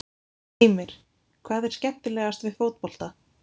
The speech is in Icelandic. Heimir: Hvað er skemmilegast við fótbolta?